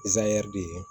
de ye